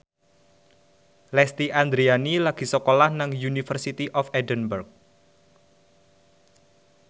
Lesti Andryani lagi sekolah nang University of Edinburgh